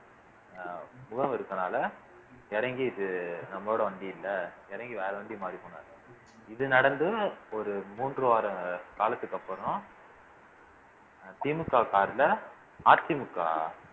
அஹ் முகம் இருக்கறதுனால இறங்கி இது நம்மளோட வண்டி இல்லை இறங்கி வேற வண்டி மாறி போனாரு இது நடந்தும் ஒரு மூன்று வார காலத்துக்கு அப்புறம் திமுக சார்புல அதிமுக